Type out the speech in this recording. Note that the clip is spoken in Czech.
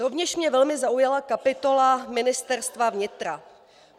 Rovněž mě velmi zaujala kapitola Ministerstva vnitra.